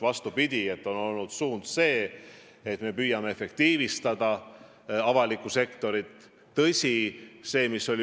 Vastupidi, suund on olnud selline, et me püüame avalikku sektorit efektiivistada.